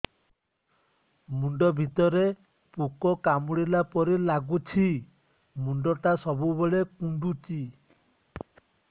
ମୁଣ୍ଡ ଭିତରେ ପୁକ କାମୁଡ଼ିଲା ପରି ଲାଗୁଛି ମୁଣ୍ଡ ଟା ସବୁବେଳେ କୁଣ୍ଡୁଚି